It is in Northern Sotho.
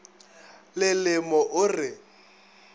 le le mo o re